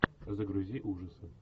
загрузи ужасы